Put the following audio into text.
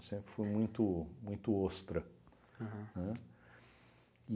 Sempre fui muito muito ostra, aham, né? E